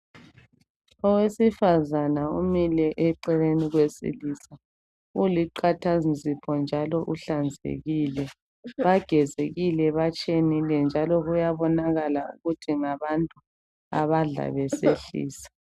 Owefazana umile eceleni kowesilisa, uliqathanzipho njalo uhlanzekile. Bagezekile batshenile njalo kuyabonakala ukuthi ngabantu abadla besehlisa.